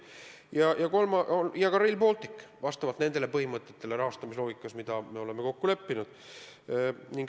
Ja ka Rail Balticu rahastamine peaks vastama nendele põhimõtetele, mis me oleme kokku leppinud.